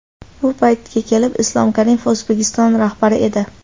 Bu paytga kelib Islom Karimov O‘zbekiston rahbari edi.